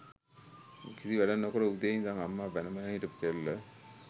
කිසි වැඩක් නොකර උදේ ඉඳං අම්මා බැන බැන හිටපු කෙල්ල